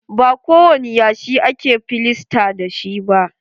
Ba kowani yashi ake filasta da shi ba.